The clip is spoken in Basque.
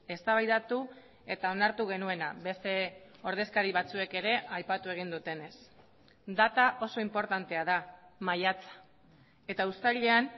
eztabaidatu eta onartu genuena beste ordezkari batzuek ere aipatu egin dutenez data oso inportantea da maiatza eta uztailean